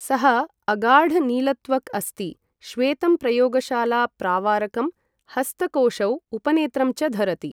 सः अगाढ नीलत्वक् अस्ति, श्वेतं प्रयोगशाला प्रावारकं, हस्तकोषौ, उपनेत्रं च धरति।